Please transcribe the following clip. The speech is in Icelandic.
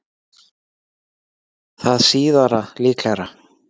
Það síðara líklegra.